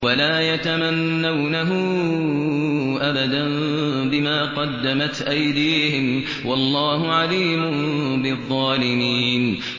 وَلَا يَتَمَنَّوْنَهُ أَبَدًا بِمَا قَدَّمَتْ أَيْدِيهِمْ ۚ وَاللَّهُ عَلِيمٌ بِالظَّالِمِينَ